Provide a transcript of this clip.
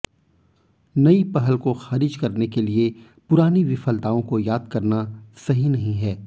नई पहल को खारिज करने के लिए पुरानी विफलताओं को याद करना सही नहीं है